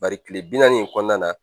Bari tile bi naani in kɔnɔna na